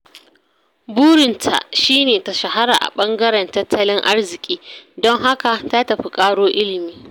Burinta shi ne ta shahara a ɓangaren tattalin arziki, don haka ta tafi ƙaro ilimi.